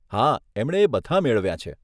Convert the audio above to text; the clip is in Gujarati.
હા એમણે એ બધાં મેળવ્યાં છે.